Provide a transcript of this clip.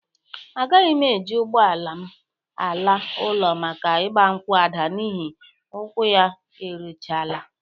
Agaghị m e ji ụgbọ ala m ala ụlọ maka ịgbankwụ Ada n'ihe ụkwụ ya erichala.